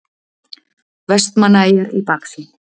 Vestmannaeyjar í baksýn.